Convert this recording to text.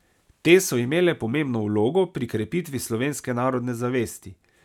Te so imele pomembno vlogo pri krepitvi slovenske narodne zavesti.